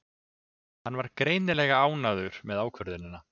Hann var greinilega ánægður með ákvörðunina.